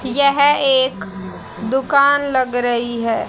यह एक दुकान लग रही है।